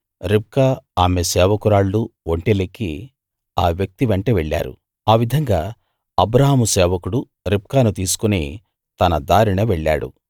రిబ్కా ఆమె సేవకురాళ్ళూ ఒంటెలెక్కి ఆ వ్యక్తి వెంట వెళ్లారు ఆ విధంగా అబ్రాహాము సేవకుడు రిబ్కాను తీసుకుని తన దారిన వెళ్ళాడు